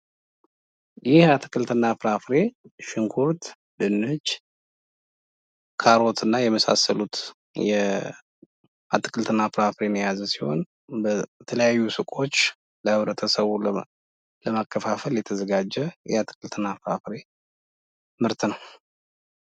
ይሄ አትክልትና ፍራፍሬ ሽንኩርት፣ ድንች፣ ካሮትና የመሳሰሉት የአትክልትና ፍራፍሬ የያዝ ሲሆን በተለያዩ ሱቆች ለብረተሰቡ ለማከፋፈል የተዘጋጀት የአትክልትና ፍሬ ምርት ነው።